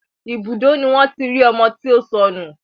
Ibùdó ni wọ́n tí rí ọmọ tí ó sọnù